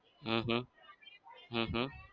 હમ હમ હમ હમ